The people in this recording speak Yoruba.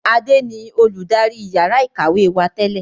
Adé ni olùdarí yàrá ìkàwé wá tẹ́lẹ̀